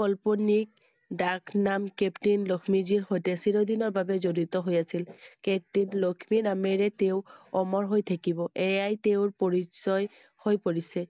কল্পনিক দাস নাম captain লক্ষ্মীজীৰ সৈতে চিৰদিনৰ বাবে জড়িত হৈ আছিল I captain লক্ষ্মী নামেৰেই তেওঁ অমৰ হৈ থাকিবI এয়াই তেওঁৰ পৰিচয় হৈ পৰিছে